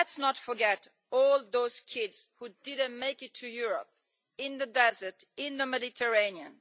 Let's not forget all those kids who didn't make it to Europe, in the desert, in the Mediterranean.